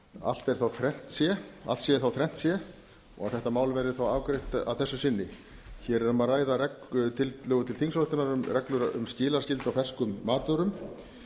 allt er þá þrennt sé allt sé þá þrennt sé og þetta mál verði þá afgreitt að þessu sinni hér er um að ræða tillögu til þingsályktunar um reglur um skilaskyldu á ferskum matvörum